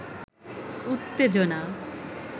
উত্তেজনা